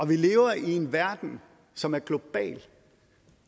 vi lever i en verden som er global